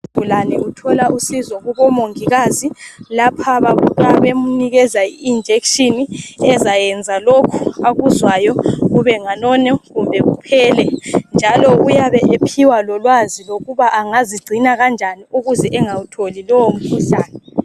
Isigulane sithole usizo kubomongikazi lapha bafika bemnikeza ijekiseni ezayenza lokhu akuzwayo kubenganeno kumbe buphele. Njalo uyabe ephiwa lolwazi lokuba angazigcina kanjani ukuze angawutholi lowomkhuhlane.